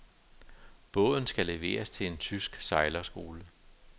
Båden skal leveres til en tysk sejlskole.